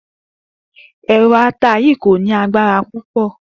È̩ro̩ ata yìí kò ní agbara púpò